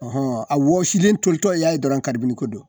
a wɔsilen tolitɔ y'a ye dɔrɔn karibini ko don